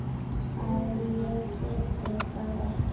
að ég geti þetta ekki.